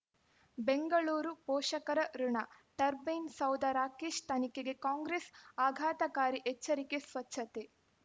ಬೆಂಗಳೂರು ಪೋಷಕರಋಣ ಟರ್ಬೈನು ಸೌಧ ರಾಕೇಶ್ ತನಿಖೆಗೆ ಕಾಂಗ್ರೆಸ್ ಆಘಾತಕಾರಿ ಎಚ್ಚರಿಕೆ ಸ್ವಚ್ಛತೆ